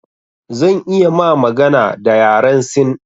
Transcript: Zan iya ma magana da yaren sin